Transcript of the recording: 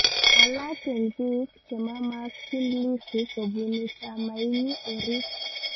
Alaak eng biik chemamakchin Lissu kobunu chamainyi orit